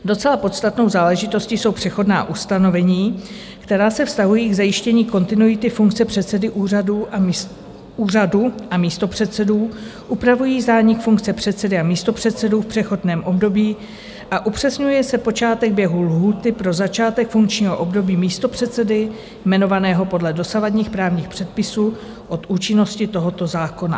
Docela podstatnou záležitostí jsou přechodná ustanovení, která se vztahují k zajištění kontinuity funkce předsedy úřadu a místopředsedů, upravují zánik funkce předsedy a místopředsedů v přechodném období a upřesňuje se počátek běhu lhůty pro začátek funkčního období místopředsedy jmenovaného podle dosavadních právních předpisů od účinnosti tohoto zákona.